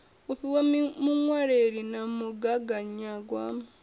u fhiwa muṅwaleli na mugaganyagwama